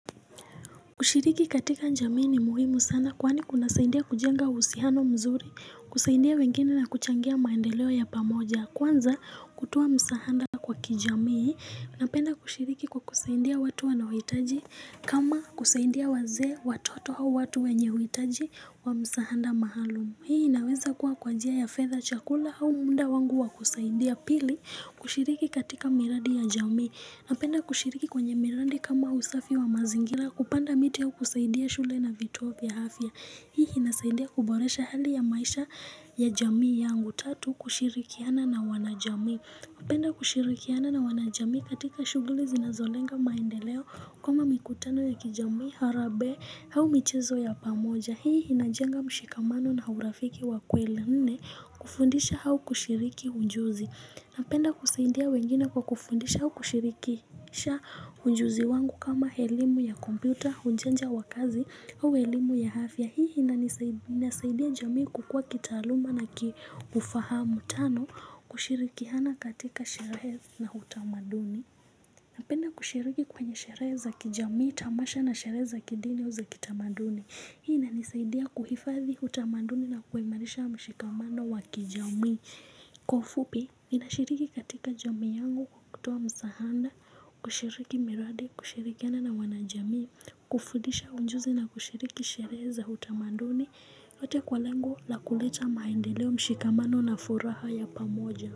Kushiriki katika jamii ni muhimu sana kwani kunasaidia kujenga uhusiano mzuri, kusaidia wengine na kuchangia maendeleo ya pamoja. Kwanza kutoa msaada kwa kijamii, napenda kushiriki kwa kusaidia watu wanaohitaji kama kusaidia wazee watoto au watu wenye huhitaji wa msaada maalum. Hii inaweza kuwa kwa njia ya fedha chakula au muda wangu wa kusaidia. Pili kushiriki katika miradi ya jamii, napenda kushiriki kwenye miradi kama usafi wa mazingira. Kupanda miti au kusaidia shule na vituo vya afya. Hii inasaidia kuboresha hali ya maisha ya jamii yangu. Tatu kushirikiana na wanajamii. Napenda kushirikiana na wanajamii katika shughuli zinazolenga maendeleo kama mikutano ya kijamii harambee au michezo ya pamoja. Hii inajenga mshikamano na urafiki wa kweli. Nne kufundisha au kushiriki ujuzi napenda kusaidia wengine kwa kufundisha au kushirikisha ujuzi wangu kama elimu ya kompyuta, ujanja wa kazi au elimu ya afya. Hii inasaidia jamii kukua kitaaluma na kiufahamu tano kushirikiana katika sherehe na utamaduni napenda kushiriki kwenye sherehe za kijamii tamasha na sherehe za kidini au za kitamaduni. Hii inanisaidia kuhifadhi utamaduni na kuimarisha mshikamano wa kijami. Kwa ufupi, ninashiriki katika jamii yangu kwa kutoa msaada, kushiriki miradi, kushirikiana na wanajamii. Kufundisha ujuzi na kushiriki sherehe za utamaduni, lote kwa lengo la kuleta maendeleo mshikamano na furaha ya pamoja.